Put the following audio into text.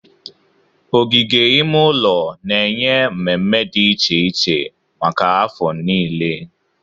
Ogige ime ụlọ na-enye mmemme dị iche iche maka afọ niile.